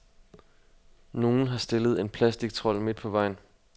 Nogen har stillet en plastictrold midt på vejen.